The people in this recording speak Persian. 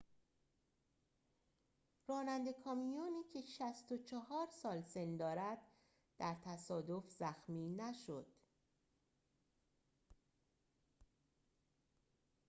راننده کامیونی که ۶۴ سال سن دارد در تصادف زخمی نشد